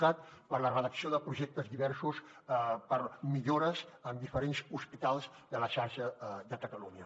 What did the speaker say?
cat per a la redacció de projectes diversos per a millores en diferents hospitals de la xarxa de catalunya